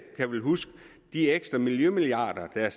kan vel huske de ekstra miljømilliarder der